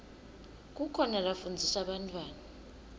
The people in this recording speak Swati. kukhona lafundzisa bantfwana